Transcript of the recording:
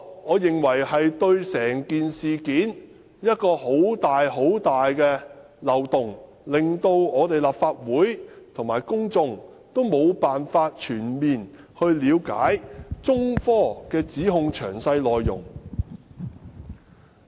我認為這是一個很大的漏洞，令立法會和公眾無法全面了解中科指控的詳細內容。